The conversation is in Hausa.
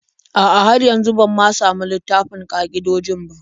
A'a, har yanzu ban ma samu littafin ƙa'idojin ba.